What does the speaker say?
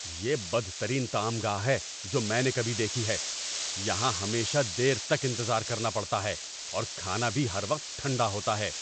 یہ بدترین طعام گاہ ہے جو میں نے کبھی دیکھی ہے۔ یہاں ہمیشہ دیر تک انتظار کرنا پڑتا ہے اور کھانا بھی ہر وقت ٹھنڈا ہوتا ہے۔